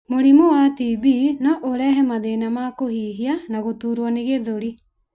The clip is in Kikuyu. Mũrimũ wa TB no ũrehe mathĩna ma kũhihia na gũtuurwo nĩ gĩthũri.